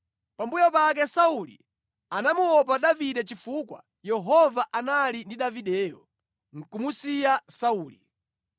Pambuyo pake Sauli amamuopa Davide chifukwa Yehova anali ndi Davideyo, nʼkumusiya Sauli.